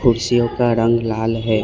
कुर्सियों का रंग लाल है।